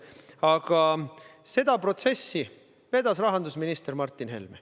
Aga seda protsessi vedas rahandusminister Martin Helme.